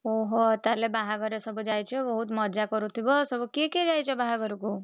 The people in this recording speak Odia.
ଓହୋ ତାହେଲେ ବାହାଘରେ ସବୁ ଯାଇଛ ବହୁତ୍ ମଜା କରୁଥିବ ସବୁ କିଏ କିଏ ଯାଇଛ ବାହାଘରକୁ?